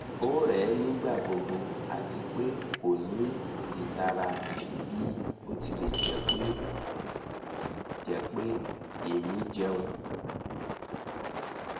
o rẹ nigbagbogbo ati pe ko ni itara bi o tilẹ jẹ pe emi jẹun